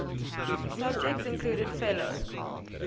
subjects included fellow